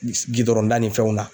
Gidɔrɔn da ni fɛnw na.